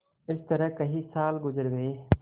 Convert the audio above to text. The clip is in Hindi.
इस तरह कई साल गुजर गये